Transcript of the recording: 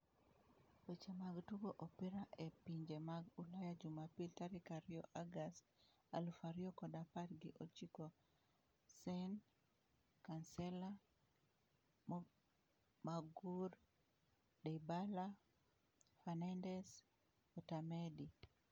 Weche mag Tugo Opira e Pinje mag Ulaya Jumapil tarik ariyo August aluf ariyo kod apar gi ochiko Sane, Kansela, Maguire, Dybala, Fernandes, Otamendi